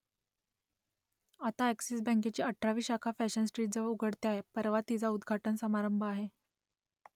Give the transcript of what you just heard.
आता अ‍ॅक्सिस बँकेची अठरावी शाखा फॅशन स्ट्रीटजवळ उघडते आहे परवा तिचा उद्घाटन समारंभ आहे